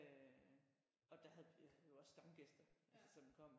Øh og der havde vi jo også stamgæster altså som kom